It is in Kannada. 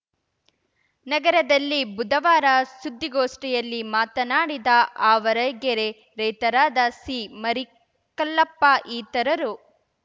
ನಗರದಲ್ಲಿ ಬುಧವಾರ ಸುದ್ದಿಗೋಷ್ಠಿಯಲ್ಲಿ ಮಾತನಾಡಿದ ಆವರಗೆರೆ ರೈತರಾದ ಸಿಮರಿಕಲ್ಲಪ್ಪ ಇತರರು